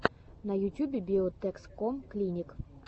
на ютюбе биотэкском клиник